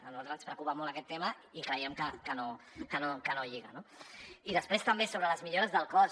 a nosaltres ens preocupa molt aquest tema i creiem que no lliga no i després també sobre les millores del cos